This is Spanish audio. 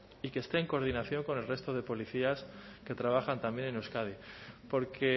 y que esté en coordinación con el resto de policías que trabajan también en euskadi porque